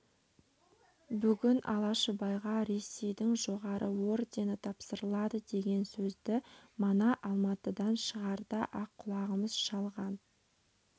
бүгін алашыбайға ресейдің жоғары ордені тапсырылады деген сөзді мана алматыдан шығарда-ақ құлағымыз шалған